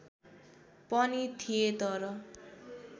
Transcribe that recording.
पनि थिए तर